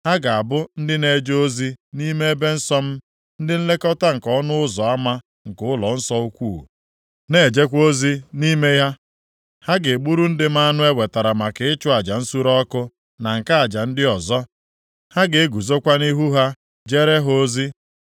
Ha ga-abụ ndị na-eje ozi nʼime ebe nsọ m, ndị nlekọta nke ọnụ ụzọ ama nke ụlọnsọ ukwuu, na-ejekwa ozi nʼime ya; ha ga-egburu ndị m anụ e wetara maka ịchụ aja nsure ọkụ na nke aja ndị ọzọ, ha ga-eguzokwa nʼihu ha jeere ha ozi.